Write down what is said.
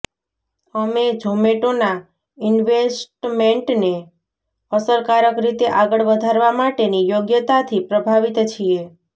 અમે ઝોમેટોના ઈન્વેસ્ટમેન્ટને અસરકારક રીતે આગળ વધારવા માટેની યોગ્યતાથી પ્રભાવિત છીએ